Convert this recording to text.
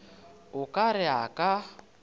o ka re a ka